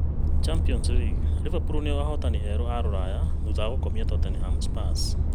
Champions League: Liverpool nĩo ahotani eerũ a rũraya thutha wa gũkomia Tottenham Hotspurs